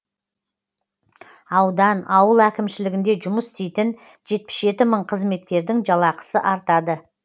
аудан ауыл әкімшілігінде жұмыс істейтін жетпіс жеті мың қызметкердің жалақысы артады